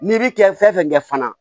N'i bi kɛ fɛn fɛn kɛ fana